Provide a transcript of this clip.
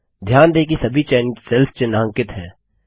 ध्यान दें कि सभी चयनित सेल्स चिन्हांकित हैं